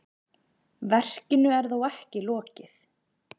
Verkinu er þó ekki lokið.